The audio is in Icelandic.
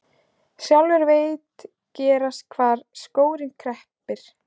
Sjálfur veit gerst hvar skórinn kreppir.